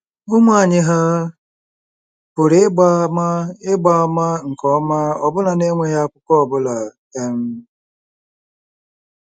Ụmụ anyị hà pụrụ ịgba àmà ịgba àmà nke ọma ọbụna n’enweghị akwụkwọ ọ bụla? um